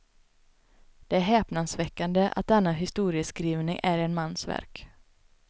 Det är häpnadsväckande att denna historieskrivning är en mans verk.